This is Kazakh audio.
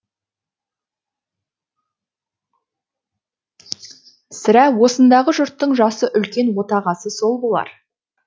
сірә осындағы жұрттың жасы үлкен отағасы сол болар